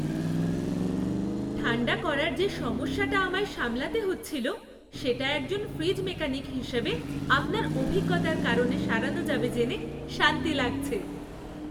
ঠাণ্ডা করার যে সমস্যাটা আমায় সামলাতে হচ্ছিল, সেটা একজন ফ্রিজ মেকানিক হিসাবে আপনার অভিজ্ঞতার কারণে সারানো যাবে জেনে শান্তি লাগছে।